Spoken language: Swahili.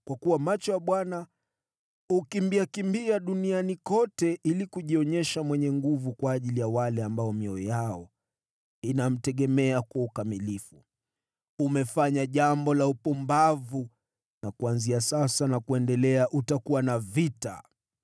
Kwa kuwa macho ya Bwana hukimbiakimbia duniani kote ili kujionyesha mwenye nguvu kwa ajili ya wale ambao mioyo yao inamtegemea kwa ukamilifu. Umefanya jambo la upumbavu na kuanzia sasa na kuendelea utakuwa na vita.”